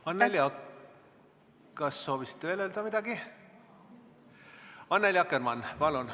Annely Akkermann, palun!